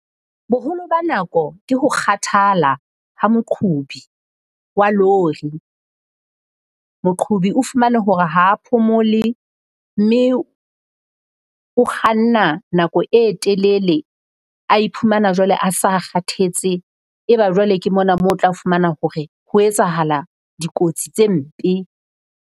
Boholo ba nako ke ho kgathala ha moqhobi wa lori. Moqhobi o fumane hore ha phomole mme o kganna nako e telele, a iphumana jwale a sa kgathetse. Eba jwale ke mona mo o tla fumana hore ho etsahala dikotsi tse mpe.